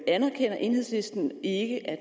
anerkender enhedslisten ikke at